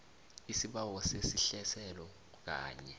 isibawo sesehliselo kanye